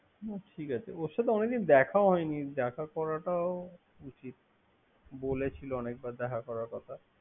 হুম ঠিক আছে। ওর সাথে অনেক দিন দেখাও হয়নি। দেখা করাটা উচিত বলেছিল অনেক বার দেখা করা কথা।